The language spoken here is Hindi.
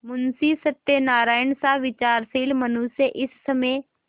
मुंशी सत्यनारायणसा विचारशील मनुष्य इस समय